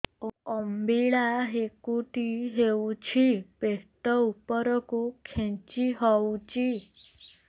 ଅମ୍ବିଳା ହେକୁଟୀ ହେଉଛି ପେଟ ଉପରକୁ ଖେଞ୍ଚି ହଉଚି